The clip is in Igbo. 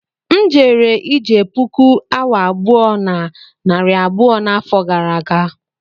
M jere ije puku awa abụọ na narị abụọ n'afọ gara aga